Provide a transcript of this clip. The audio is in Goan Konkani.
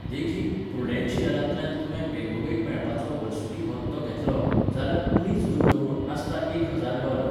देखीक, प्रुडेन्शियलांतल्यान तुवें बेगोबेग मेळपाचो वर्सुकी भत्तो घेतलो, जाल्यार उणीच गुंतवणूक आसता एक हजार डॉलर.